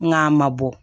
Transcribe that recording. N k'a ma bɔ